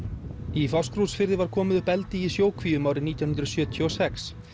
í Fáskrúðsfirði var komið upp eldi í sjókvíum árið nítján hundruð sjötíu og sex